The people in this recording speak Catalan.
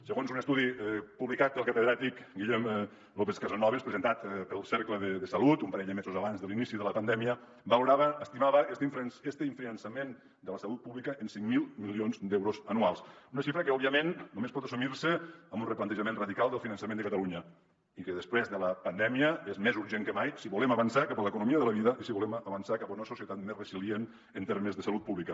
segons un estudi publicat pel catedràtic guillem lópez casasnovas presentat pel cercle de salut un parell de mesos abans de l’inici de la pandèmia valorava estimava este infrafinançament de la salut pública en cinc mil milions d’euros anuals una xifra que òbviament només pot assumir se amb un replantejament radical del finançament de catalunya i que després de la pandèmia és més urgent que mai si volem avançar cap a l’economia de la vida i si volem avançar cap a una societat més resilient en termes de salut pública